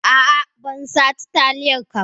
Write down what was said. A'a bansace taliyar ka ba.